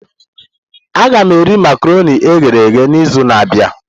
Aga m eri makaronii e ghere eghe n'izu na-abịa.